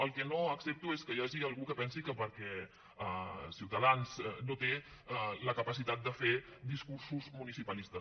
el que no accepto és que hi hagi algú que pensi que ciutadans no té la capacitat de fer discursos munici·palistes